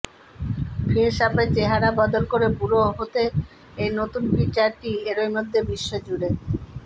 ফেসঅ্যাপে চেহারা বদল করে বুড়ো হতে এই নতুন ফিচারটি এরই মধ্যে বিশ্বজুড়ে